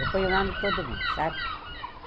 Eu ponho o nome de todo mundo, sabe?